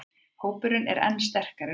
Hópurinn er enn sterkari núna